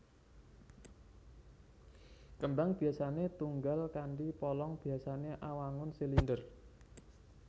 Kembang biasané tunggal kanthi polong biasané awangun silinder